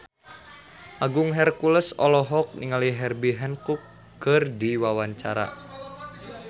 Agung Hercules olohok ningali Herbie Hancock keur diwawancara